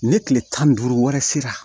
Ni tile tan ni duuru wɛrɛ sera